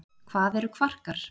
hvað eru kvarkar